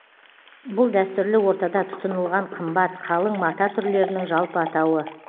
бұл дәстүрлі ортада тұтынылған қымбат қалың мата түрлерінің жалпы атауы